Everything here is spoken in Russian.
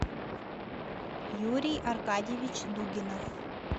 юрий аркадьевич дугинов